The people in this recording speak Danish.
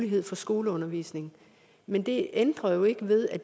mulighed for skoleundervisning men det ændrer jo ikke ved at